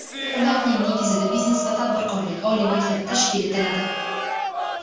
ularning negizida Biznes va tadbirkorlik oliy maktabi tashkil etiladi.